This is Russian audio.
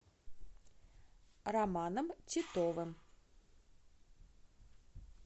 романом титовым